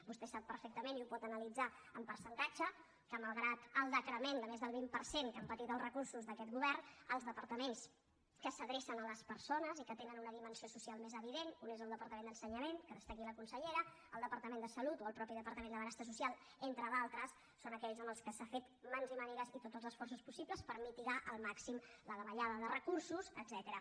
vostè sap perfectament i ho pot analitzar amb percentatge que malgrat el decrement de més del vint per cent que han patit els recursos d’aquest govern els departaments que s’adrecen a les persones i que tenen una dimensió social més evident un és el departament d’ensenyament que n’està aquí la consellera el departament de salut o el mateix departament de benestar social entre d’altres són aquells amb què s’ha fet mans i mànigues i tots els esforços possibles per mitigar al màxim la davallada de recursos etcètera